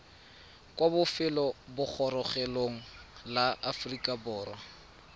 kwa lefelobogorogelong la aforika borwa